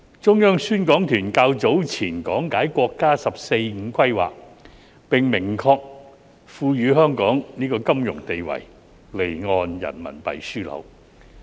中央宣講團較早前講解國家"十四五"規劃，並明確賦予香港金融定位——離岸人民幣樞紐。